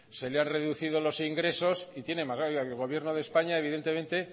se le ha reducido los ingresos y tiene el gobierno de españa evidentemente